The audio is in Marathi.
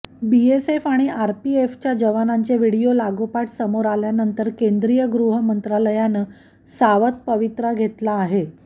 बीएसएफ आणि सीआरपीएफच्या जवानांचे व्हिडिओ लागोपाठ समोर आल्यानंतर केंद्रीय गृहमंत्रालयानं सावध पवित्रा घेतला आहे